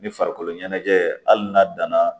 Ni farikolo ɲɛnajɛ hali n'a danna